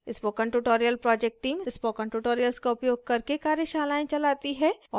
spoken tutorial project team spoken tutorials का उपयोग करके कार्यशालाएँ चलाती है